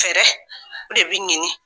Fɛɛrɛ o de b'i ɲini